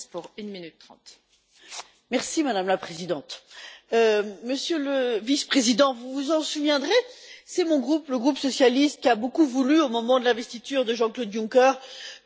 Madame la Présidente, Monsieur le Vice président, vous vous en souviendrez, c'est mon groupe, le groupe socialiste, qui a beaucoup voulu au moment de l'investiture de Jean-Claude Juncker que ce plan d'investissement existe.